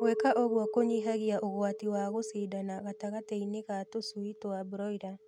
Gwĩka ũguo kũnyihagia ũgwati wa gũshindana gatagatĩinĩ ka tũshui twa broila